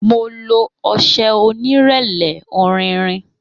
Mo lo ọṣẹ onírẹlẹ, ọrinrin.